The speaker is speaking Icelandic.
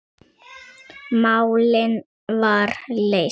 Málið var leyst.